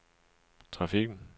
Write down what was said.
trafikken